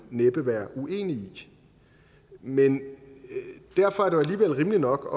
næppe være uenig i men derfor er det jo alligevel rimeligt nok